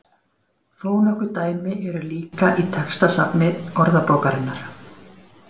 Þó nokkur dæmi eru líka í textasafni Orðabókarinnar.